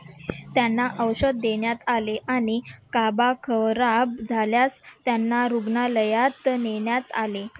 त्यांना औषध देण्यात आले आणि काबा खराब झाल्यास त्यांना रुग्णालयात नेण्यात आले.